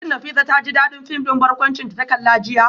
Shin Nafisa ta ji dadin fim din barkwanci da ta kalla jiya?